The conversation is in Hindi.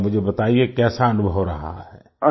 जरा मुझे बताइए कैसा अनुभव रहा